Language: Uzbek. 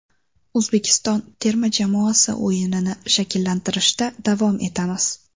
O‘zbekiston terma jamoasi o‘yinini shakllantirishda davom etamiz.